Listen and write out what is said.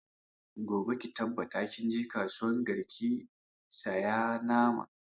Gobe ki tabbata kin je kasuwan garki ki saya nama!